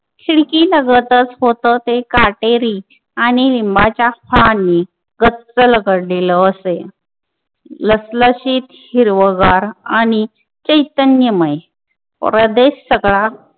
खिडकी लगतच होत ते काटेरी आणि लिंबाच्या फळांनी गच्च लगडलेलं असे लसलशीत हिरवंगार आणि चैतन्यमय प्रदेश सगळा